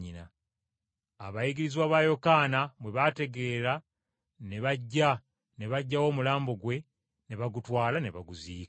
Abayigirizwa ba Yokaana bwe baategeera ne bajja ne baggyawo omulambo gwe, ne bagutwala ne baguziika.